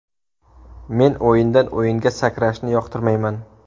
Men o‘yindan-o‘yinga sakrashni yoqtirmayman.